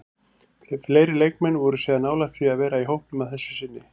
Fleiri leikmenn voru síðan nálægt því að vera í hópnum að þessu sinni.